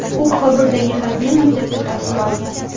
U Kobuldagi harbiy maktabda tahsil olgan.